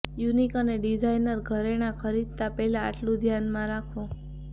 unique અને designer ઘરેણાં ખરીદતાં પહેલાં આટલું ધ્યાનમાં રાખો